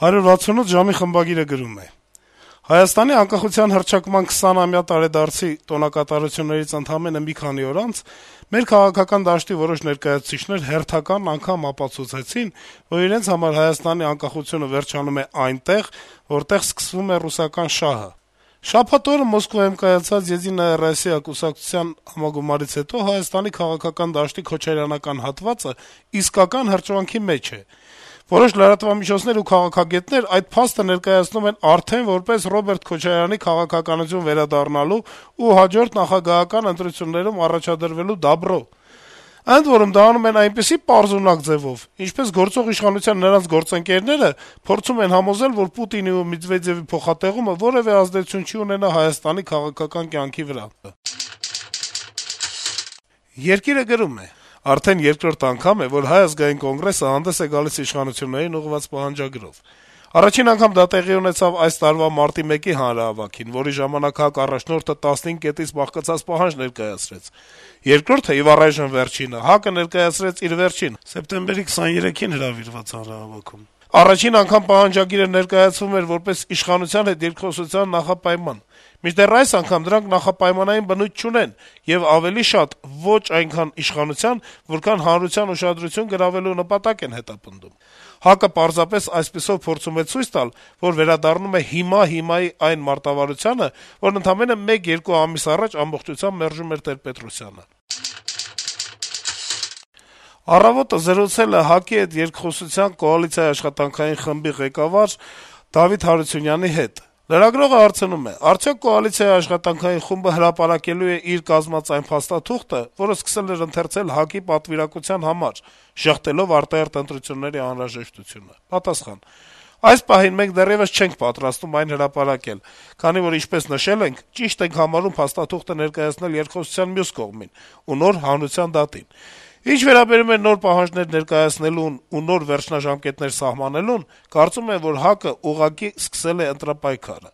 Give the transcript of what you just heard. «168 ժամ»-ի խմբագիրը գրում է. - «Հայաստանի անկախության հռչակման 20-ամյա տարեդարձի տոնակատարություններից ընդամենը մի քանի օր անց մեր քաղաքական դաշտի որոշ ներկայացուցիչներ հերթական անգամ ապացուցեցին, որ իրենց համար ՀՀ անկախությունը վերջանում է այնտեղ, որտեղ սկսվում է ռուսական շահը: Շաբաթ օրը Մոսկվայում կայացած «Եդինայա Ռոսիա» կուսակցության համագումարից հետո Հայաստանի քաղաքական դաշտի քոչարյանական հատվածը իսկական հրճվանքի մեջ է: Որոշ լրատվամիջոցներ ու «քաղաքագետներ» այդ փաստը ներկայացնում են արդեն որպես Ռոբերտ Քոչարյանի քաղաքականություն վերադառնալու ու հաջորդ նախագահական ընտրություններում առաջադրվելու «դաբրո»: Ընդ որում, դա անում են այնպիսի պարզունակ ձեւով, ինչպես գործող իշխանության նրանց գործընկերները փորձում են համոզել, որ Պուտինի ու Մեդվեդեւի փոխատեղումը որեւէ ազդեցություն չի ունենա Հայաստանի քաղաքական կյանքի վրա»: «Երկիր»-ը գրում է. - «Արդեն երկրորդ անգամ է, որ Հայ ազգային կոնգրեսը հանդես է գալիս իշխանություններին ուղղված պահանջագրով: Առաջին անգամ դա տեղի ունեցավ այս տարվա մարտի 1-ի հանրահավաքին, որի ժամանակ ՀԱԿ առաջնորդը 15 կետից բաղկացած պահանջ ներկայացրեց: Երկրորդը եւ առայժմ վերջինը, ՀԱԿ-ը ներկայացրեց իր վերջին` սեպտեմբերի 23-ին կազմակերպված հանրահավաքում: Առաջին անգամ պահանջագիրը ներկայացվում էր` որպես իշխանության հետ երկխոսության նախապայման: Մինչդեռ այս անգամ դրանք նախապայմանային բնույթ չունեն եւ ավելի շատ ոչ այքան իշխանության, որքան հանրության ուշադրությունը գրավելու նպատակ է հետապնդում: ՀԱԿ-ը պարզապես այսպիսով փորձում է ցույց տալ, որ վերադառնում է «Հիմա, հիմա»-ի այն մարտավարությանը, որն ընդամենը մեկ-երկու ամիս առաջ ամբողջությամբ մերժում էր Տեր-Պետրոսյանը»: «Առավոտ»-ը զրուցել է ՀԱԿ-ի հետ երկխոսության կոալիցիայի աշխատանքային խմբի ղեկավար Դավիթ Հարությունյանի հետ: Լրագրողը հարցնում է. - «Արդյո՞ք կոալիցիայի աշխատանքային խումբը հրապարակելու է իր կազմած այն փաստաթուղթը, որը սկսել էր ընթերցել ՀԱԿ-ի պատվիրակության համար` ժշտելով արտահերթ ընտրությունների անհրաժեշտությունը»: Պատասխան. - «Այս պահին մենք դեռեւս չենք պատրաստվում այն հրապարակել, քանի որ, ինչպես նշել ենք, ճիշտ ենք համարում փաստաթուղթը ներկայացնել երկխոսության մյուս կողմին ու նոր` հանրության դատին: Ինչ վերաբերում է նոր պահանջներ ներկայացնելուն ու նոր վերջնաժամկետներ սահմանելուն` կարծում եմ, որ ՀԱԿ-ը ուղղակի արդեն սկսել է ընտրապայքարը: